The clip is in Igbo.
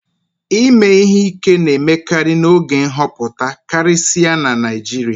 ime ihe ike na-emekarị n'oge nhọpụta karịsịa na Naijiria